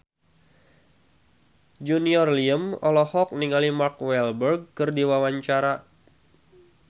Junior Liem olohok ningali Mark Walberg keur diwawancara